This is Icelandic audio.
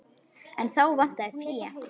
En þá vantaði fé.